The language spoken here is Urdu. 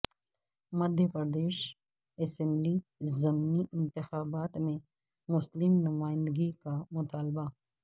مدھیہ پردیش اسمبلی ضمنی انتخابات میں مسلم نمائندگی کا مطالبہ